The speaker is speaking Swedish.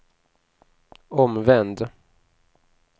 omvänd